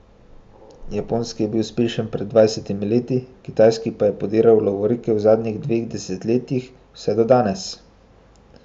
Japonski je bil uspešen pred dvajsetimi leti, kitajski pa je pobiral lovorike v zadnjih dveh desetletjih, vse do danes.